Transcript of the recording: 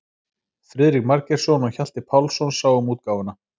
Friðrik Margeirsson og Hjalti Pálsson sáu um útgáfuna.